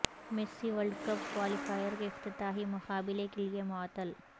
Messi world cup qualifier کے افتتاحی مقابلے کیلئے معطل